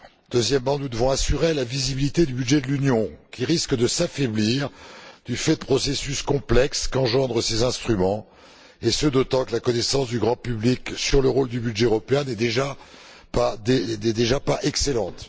Deuxièmement, nous devons assurer la visibilité du budget de l'Union, qui risque de s'affaiblir du fait de processus complexes qu'engendrent ces instruments et ce, d'autant que la connaissance du grand public sur le rôle du budget européen n'est déjà pas excellente.